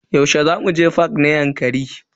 Yaushe zaku je fak na Yankari?